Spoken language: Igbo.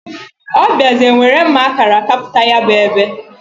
O biazie nwere mma akara kaputa ya bu ebe.